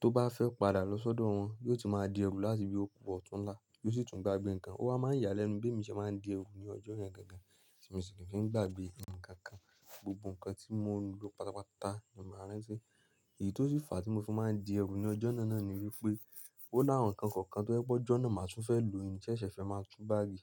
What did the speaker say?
Tó bá fẹ́ padà lọ sọ́dọ̀ wọn, yóò ti máa di ẹrù láti bí ó ku ọ̀túnla yó sì tún ń gbàgbé nǹkan o. Ó wa máa ń yálẹ́nu bé mí ṣé máa ń di ẹrù ní ọjọ́ yẹn gangan, tí mí sì kì í fi ń gbàgbé ǹkan kan. Gbogbo ǹkan tí mo ń lò pátápátá ni mo máa rán tí. Èyí tó sì fàá tí mo fi máa ń di ẹrù ní ọjọ́ náà ni wípé, ó láwọn ǹkan kọ̀ọ̀kan tó jẹ́ pé ọjọ́ náà màá tún fẹ́ lò mí ní ṣẹ́ṣẹ̀ fẹ́ máa tú báàgì.